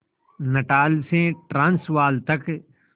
Natal से Transvaal तक